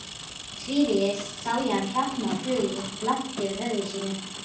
Tvívegis sá hann hrafna á flugi langt yfir höfði sínu.